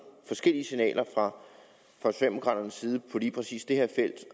forskellige signaler fra socialdemokraternes side på lige præcis det her felt